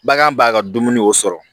Bagan b'a ka dumuni o sɔrɔ